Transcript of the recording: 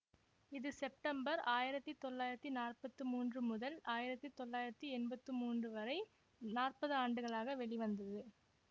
இது செப்டம்பர் ஆயிரத்தி தொள்ளாயிரத்தி நாற்பத்தி மூன்று முதல் ஆயிரத்தி தொள்ளாயிரத்தி எம்பத்தி மூன்று வரை நாற்பது ஆண்டுகளாக வெளிவந்தது